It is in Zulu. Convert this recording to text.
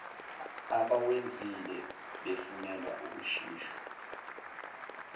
abawenzile befunelwa ukushushiswa